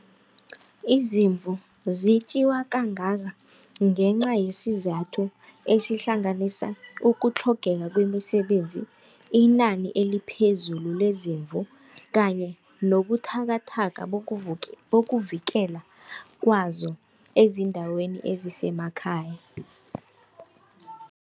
Izimvu zetjiwa kangaka ngenca yesizathu esihlanganisa ukutlhogeka kwemisebenzi, inani eliphezulu khulu lezimvu kanye nawubuthakathaka bokuvikela kwazo eziindaweni ezisemakhaya.